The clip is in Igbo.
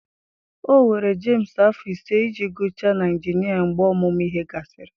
Ọ were Jemsị afọ ise iji gụchaa na injinia mgbe ọmụmụ ihe gasịrị.